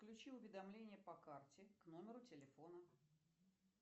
включи уведомления по карте к номеру телефона